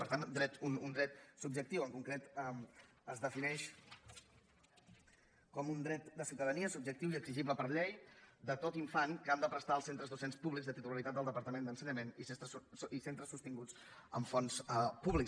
per tant un dret subjectiu en concret es defineix com un dret de ciutadania subjectiu i exigible per llei de tot infant que han de prestar els centres docents públics de titularitat del departament d’ensenyament i centres sostinguts amb fons públics